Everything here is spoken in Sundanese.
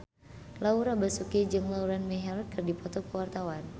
Laura Basuki jeung Lauren Maher keur dipoto ku wartawan